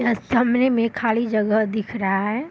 यहां सामने में खाली जगह दिख रहा है।